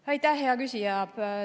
Aitäh, hea küsija!